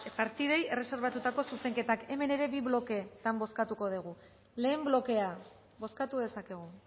partidei erreserbatutako zuzenketak hemen ere bi bloketan bozkatuko dugu lehen blokea bozkatu dezakegu